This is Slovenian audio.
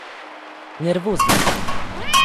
Nervozna sem.